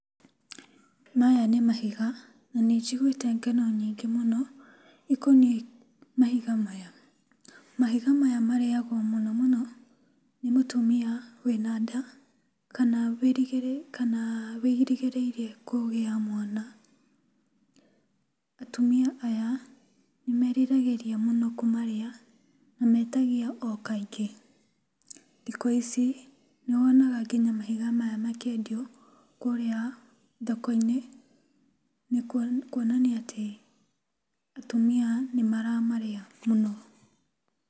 Maya nĩ mahiga na nĩ njiguĩte ng'ano nyingĩ mũno ikoniĩ mahiga maya. Mahiga maya marĩyagwo mũno mũno nĩ mũtumia wĩna nda kana kana wĩrĩgĩrĩire kũgĩa mwana. Atumia aya nĩmeriragĩria mũno kũmarĩa na metagia o kaingĩ. Thikũ ici nĩwonaga nginya mahiga maya makĩendio kũrĩa thokoinĩ kuonania atĩ atumia nĩmaramarĩa mũno.